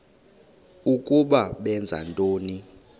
ukuba benza ntoni